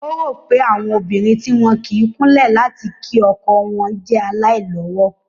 Ó rò pé àwọn obìnrin tí wọn kì í kúnlẹ̀ láti kí ọkọ wọn jẹ́ aláìlọ́wọ̀